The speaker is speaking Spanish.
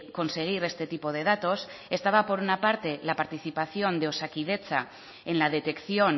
conseguir este tipo de datos estaba por una parte la participación de osakidetza en la detección